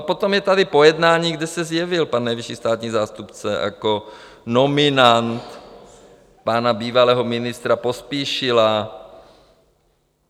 A potom je tady pojednání, kde se zjevil pan nejvyšší státní zástupce jako nominant pana bývalého ministra Pospíšila.